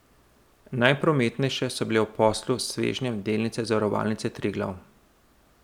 Najprometnejše so bile ob poslu s svežnjem delnice Zavarovalnice Triglav.